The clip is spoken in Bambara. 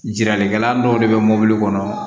Jiralikɛla dɔw de bɛ mɔbili kɔnɔ